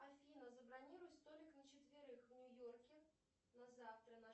афина забронируй столик на четверых в нью йорке на завтра на